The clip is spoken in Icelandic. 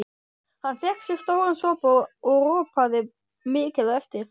Hann fékk sér stóran sopa og ropaði mikið á eftir.